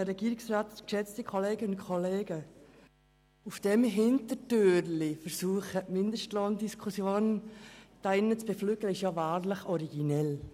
Der Versuch ist wahrlich originell, durch diese Hintertür die Mindestlohndiskussion zu beflügeln.